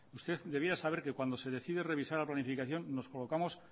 usted debía saber que cuando se decide revisar la planificación nos colocamos